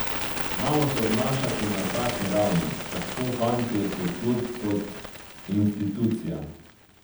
Znamo se obnašati na takšni ravni, tako fantje kot klub kot institucija.